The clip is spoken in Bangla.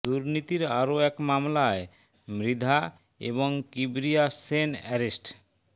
দুর্নীতির আরও এক মামলায় মৃধা ও কিবরিয়া শ্যোন অ্যারেস্ট